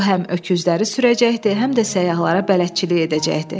O həm öküzləri sürəcəkdi, həm də səyyahlara bələdçilik edəcəkdi.